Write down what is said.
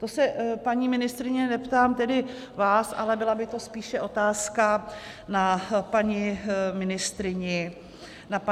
To se, paní ministryně, neptám tedy vás, ale byla by to spíše otázka na paní ministryni Benešovou.